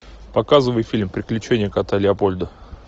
показывай фильм приключения кота леопольда